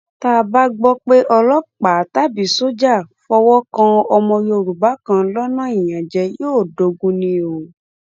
tá a bá gbọ pé ọlọpàá tàbí sójà fọwọ kan ọmọ yorùbá kan lọnà ìyànjẹ yóò dogun ni o